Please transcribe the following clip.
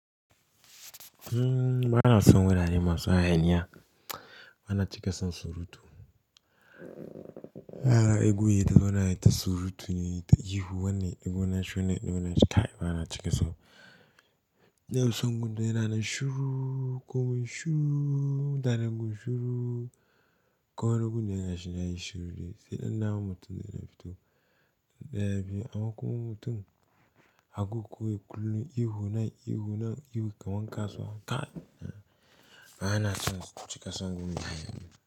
Mmm bana son wurare masu hayaniya, bana cika son surutu. Haka, ihu ya zauna yi ta surutu ne, ta ihu wanne ihu na shune, na wane taka, bana cika so. Na fi son gun da yana shuru, komai shuru, mutanen gun shuru, kawai gun da yana shina yi shiru ne, sai ɗan namu mutum da yana fito. Ya fi amma kuma mutum aga kawai kullum ihu nan, ihu nan ihu, kaman kasuwa kai. Bana cika son wurin hayaniya.